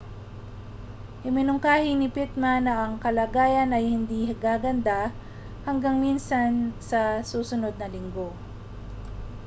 iminungkahi ni pittman na ang mga kalagayan ay hindi gaganda hanggang minsan sa susunod na linggo